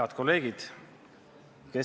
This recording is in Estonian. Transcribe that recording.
Head kolleegid!